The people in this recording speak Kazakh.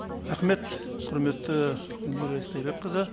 рахмет құрметті гүлмира истайбекқызы